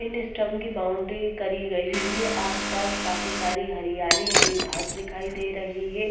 इन स्टम की बाउंड्री करी गई है आसपास काफी सारी हरियाली हरी घास दिखाई दे रही है।